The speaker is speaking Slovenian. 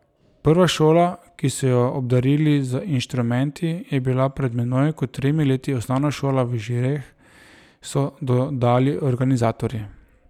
Prva šola, ki so jo obdarili z inštrumenti, je bila pred manj kot tremi leti osnovna šola v Žireh, so dodali organizatorji.